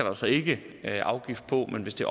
altså ikke afgift på men hvis det